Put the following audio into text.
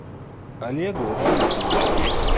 олегу раисовичу